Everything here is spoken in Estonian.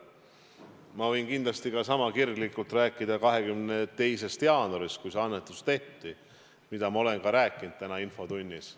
Ma võin kindlasti sama kirglikult rääkida 22. jaanuarist, kui see annetus tehti, millest ma olen ka rääkinud tänases infotunnis.